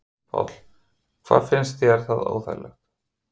Páll: En finnst þér það óþægilegt?